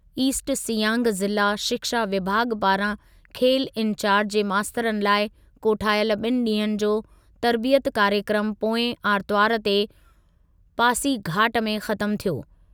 East Siang ज़िला शिक्षा विभाॻु पारां खेल इंचार्ज जे मास्तरनि लाइ कोठायल ॿिनि ॾींहनि जो तर्बियत कार्यक्रमु पोएं आर्तवारु ते पासीघाट में ख़त्मु थियो।